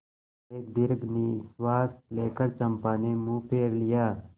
एक दीर्घ निश्वास लेकर चंपा ने मुँह फेर लिया